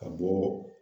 Ka bɔ